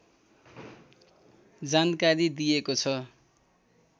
जानकारी दिएको छ